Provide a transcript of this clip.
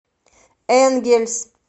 энгельс